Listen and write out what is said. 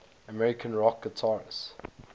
american rock guitarists